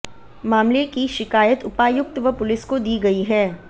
मामले की शिकायत उपायुक्त व पुलिस को दी गई है